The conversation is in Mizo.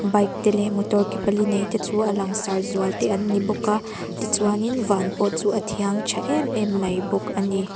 bike te leh motor ke pali nei te chu a langsar zual te an ni bawk a tichuanin van pawh chu a thiang tha emem mai bawk ani.